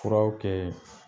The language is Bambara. Furaw kɛ